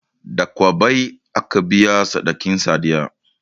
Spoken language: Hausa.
Da kwabbai aka biya sadakin sadiya